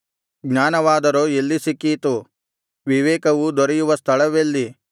ಜ್ಞಾನವಾದರೋ ಎಲ್ಲಿ ಸಿಕ್ಕೀತು ವಿವೇಕವು ದೊರೆಯುವ ಸ್ಥಳವೆಲ್ಲಿ